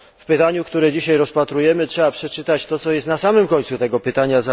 W pytaniu, które dzisiaj rozpatrujemy, trzeba przeczytać to, co jest zawarte na samym końcu tego pytania.